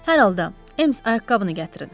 Hər halda, Ems, ayaqqabını gətirin.